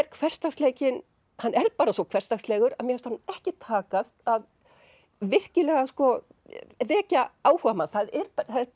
hversdagsleikinn bara svo hversdagslegur mér fannst honum ekki takast að að vekja áhuga manns það eru